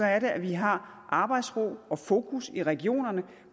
er det at vi har arbejdsro og fokus i regionerne